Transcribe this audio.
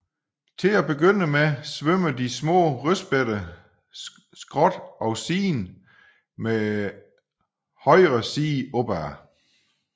Til at begynde med svømmer de små rødspætter skråt og siden med højre side opad